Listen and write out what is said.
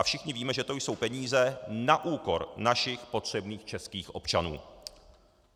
A všichni víme, že to jsou peníze na úkor našich potřebných českých občanů.